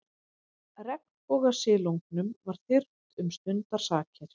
Regnbogasilungnum var þyrmt um stundarsakir.